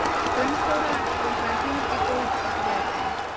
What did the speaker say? Gunnþóra, bókaðu hring í golf á þriðjudaginn.